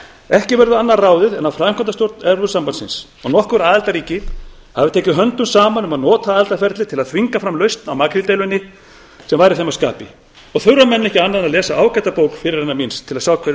ekki verður annað ráðið en að framkvæmdastjórn evrópusambandsins og nokkur aðildarríki hafi tekið höndum saman um að nota aðildarferlið til að þvinga fram lausn á makríldeilunni sem væri þeim að skapi þurfa menn ekki annað en að lesa ágæta bók fyrirrennara míns til að sjá hve